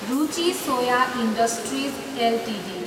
Ruchi soya industries Ltd